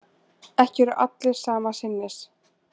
Ekki eru allir sama sinnis